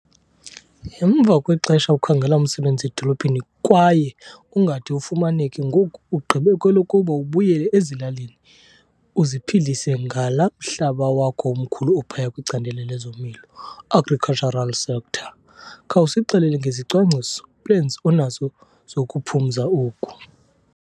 Emva kwexesha ukhangela umsebenzi edolophini kwaye ungade ufumaneke, ngoku ugqibe kwelokuba ubuyele ezilalini uziphilise ngalaa mhlaba wakho umkhulu ophaya kwicandelo lezolimo, agricultural sector. Khawusixelele ngezicwangciso, plans onazo zokuphumza oku.